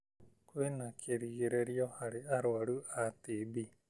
Kwĩna kĩĩrĩgĩrĩro harĩ arũaru a TB.